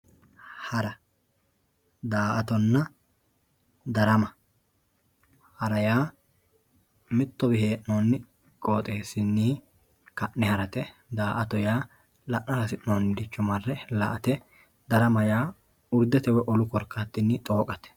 hara daa''atonna darama hara yaa mittowii hee'noonni qooxeessinni ka'ne harate daa''to yaa la'nara hasi'nooniricho marre la''ate darama yaa urdete woy wolu korkaatinni xooqate.